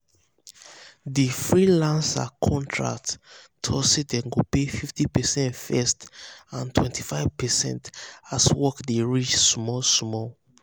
di freelancer contract talk say dem go pay 50 percent first and 25 percent as work dey reach small-small.